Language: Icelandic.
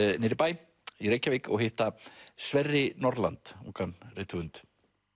niður í bæ í Reykjavík og hitta Sverri Norland ungan rithöfund